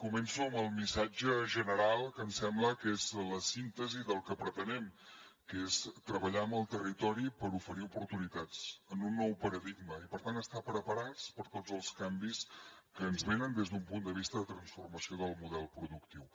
començo amb el missatge general que em sembla que és la síntesi del que pretenem que és treballar amb el territori per oferir oportunitats en un nou paradigma i per tant estar preparats per a tots els canvis que ens venen des d’un punt de vista de transformació del model productiu